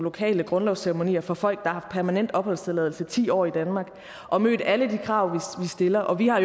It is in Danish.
lokale grundlovsceremonier for folk der har permanent opholdstilladelse ti år i danmark og mødt alle de krav vi stiller og vi har